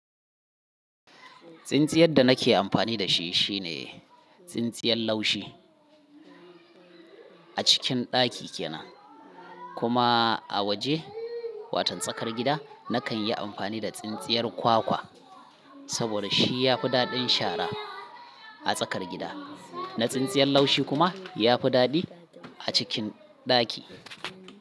Tsintsiyar da nake amfani da shi shine tsintsiyar laushi a cikin ɗaki kenan. Kuma a waje, watan tsakar gida nakan yi amfani da tsintsiyar kwakwa saboda shi ya fi daɗin shara a tsakar gida. Na tsintsiyar laushi kuma ya fi daɗi a cikin ɗaki.